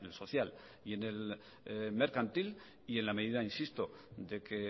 social y en el mercantil y en la medida insisto de que